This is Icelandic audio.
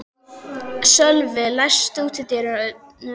Sölvi, læstu útidyrunum.